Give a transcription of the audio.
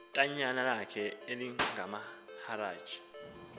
ityala lakhe elikamaharaj